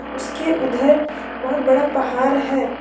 उसके उधर बहोत बड़ा पहार है।